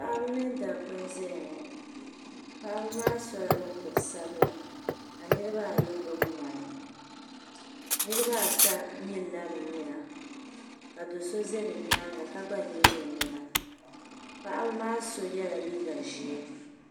Paɣaba mini dabbi n ʒɛyaŋɔ paɣibi maa sola mukuru sabila ka niribi ayi gbubi ŋmani niribi ata nyilila bi nyina ka do sɔ zabi nyaaŋa ka gba nyili ɔnyina paɣaba maa sɔ yela liiga ʒɛɛ